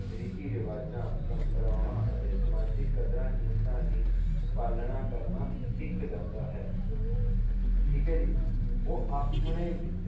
ਰੀਤੀ ਰਿਵਾਜਾ ਪ੍ਰੰਪਰਾਵਾਂ ਅਤੇ ਸਮਾਜਿਕ ਕਦਰਾਂ ਕੀਮਤਾ ਦੀ ਪਾਲਣਾ ਕਰਨਾ ਸਿੱਖ ਜਾਂਦਾ ਹੈ ਠੀਕ ਹੈ ਜੀ ਉਹ ਆਪਣੇ